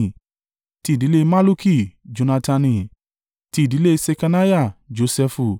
ti ìdílé Malluki, Jonatani; ti ìdílé Ṣekaniah, Josẹfu;